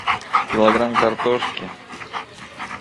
килограмм картошки